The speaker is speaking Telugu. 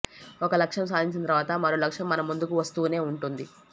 ఒక లక్ష్యం సాధించిన తర్వాత మరో లక్ష్యం మన ముందుకు వస్తూనే ఉంటుంది